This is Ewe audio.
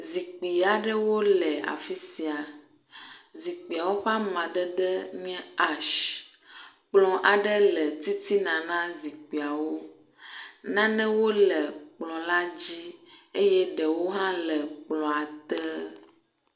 Zikpui aɖewo le afi sia. Zikpuiwo ƒe amadede nye ashs. Kplɔ aɖe le titina na zikpuiawo. Nanewo le kplɔ la dzi eye ɖewo hã le kplɔa te.